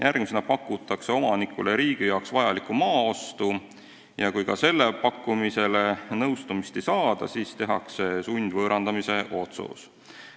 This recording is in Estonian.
Järgmisena pakutakse omanikule riigi jaoks vajaliku maa ostu ja kui ka sellega nõus ei olda, siis tehakse sundvõõrandamise otsus.